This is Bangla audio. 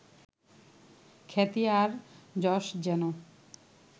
খ্যাতি আর যশ যেন